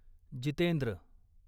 Jitendra